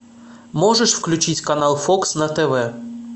можешь включить канал фокс на тв